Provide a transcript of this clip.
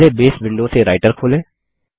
पहले Base window से Writer खोलें